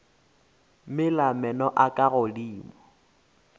mela meno a ka godimo